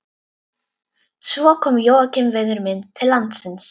Svo kom Jóakim vinur minn til landsins.